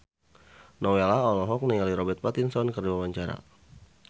Nowela olohok ningali Robert Pattinson keur diwawancara